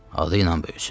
Adı ilə böyüsün.